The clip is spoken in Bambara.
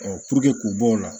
k'u bɔ o la